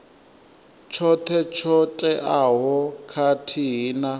tshoṱhe tsho teaho khathihi na